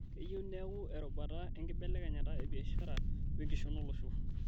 Keyieu neeku erubata enkibelekenyata ebiashara o enkishon olosho